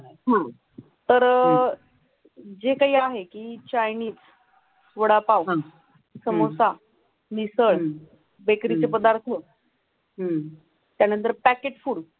आह तर अह जे काही आहे कीं चैनीस, वडापाव, समोसा, मिसळ, बेकरीचे पदार्थ हो त्यानंतर प्याकेज फुड